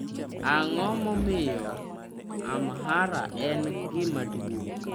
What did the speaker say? Ang'o momiyo Amhara en gima duong'?